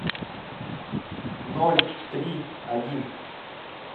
ноль три один